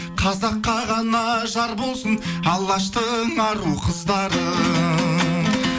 қазаққа ғана жар болсын алаштың ару қыздары